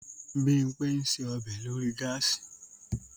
Bímpé ń ṣe ọbẹ̀ lórí gáàsì